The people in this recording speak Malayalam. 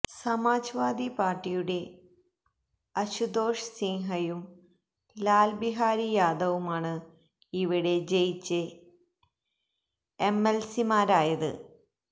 സമാജ് വാദി പാര്ട്ടിയുടെ അശുതോഷ് സിന്ഹയും ലാല് ബിഹാരി യാദവുമാണ് ഇവിടെ ജയിച്ച് എംഎല്സിമാരായത്